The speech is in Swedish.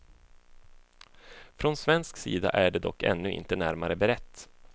Från svensk sida är det dock ännu inte närmare berett.